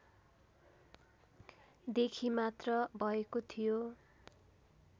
देखि मात्र भएको थियो